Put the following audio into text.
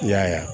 I y'a ye wa